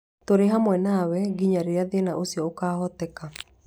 Tũrĩ hamwe nawe nginya rĩrĩa thĩna ũcio ũkaahoteka.